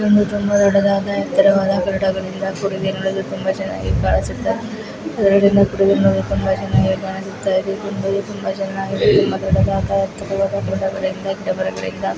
ಇದೊಂದು ತುಂಬಾ ದೊಡ್ಡದಾದ ಎತ್ತರವಾದ ಕಟ್ಟಡಗಳಿಂದ ಕೂಡಿದೆ ನೋಡಲು ತುಂಬಾ ಚೆನ್ನಾಗಿ ಕಾಣಿಸುತ್ತದೆ ಗಿಡಗಳಿಂದ ಕೂಡಿದೆ ನೋಡಲು ತುಂಬಾ ಚೆನ್ನಾಗಿ ಕಾಣಿಸುತ್ತಿದೆ ತುಂಬಾ ಚೆನ್ನಾಗಿದೆ ತುಂಬಾ ದೊಡ್ಡದಾದ ಎತ್ತರವಾದ ಗುಡ್ಡಗಳಿಂದ ಗಿಡಮರಗಳಿಂದ ಕೂಡಿದೆ.